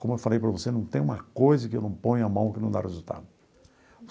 Como eu falei para você, não tem uma coisa que eu não ponho a mão que não dá resultado.